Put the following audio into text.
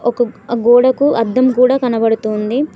ఒక గోడకు అద్దం కూడా కనబడుతోంది.